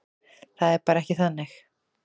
Það er bara ekki þannig.